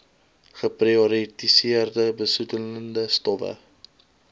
geprioritoriseerde besoedelende stowwe